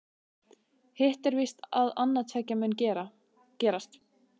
Hitt er víst að annað tveggja mun gerast.